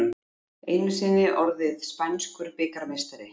Einu sinni orðið spænskur bikarmeistari